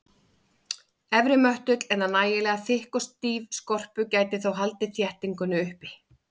Efri möttull eða nægilega þykk og stíf skorpu gæti þó haldið þéttingunni uppi.